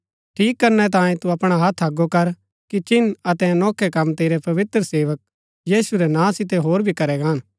ठीक करनै तांयें तू अपणा हत्थ अगो कर कि चिन्ह अतै अनोखै कम तेरै पवित्र सेवक यीशु रै नां सितै होर भी करै गान